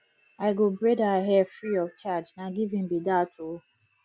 i go braid her hair free of charge na giving be dat o